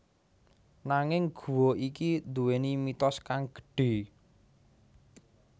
Nanging guwa iki duwéni mitos kang gedhè